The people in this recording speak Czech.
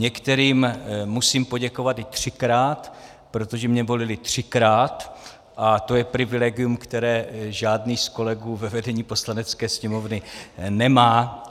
Některým musím poděkovat i třikrát, protože mě volili třikrát a to je privilegium, které žádný z kolegů ve vedení Poslanecké sněmovny nemá.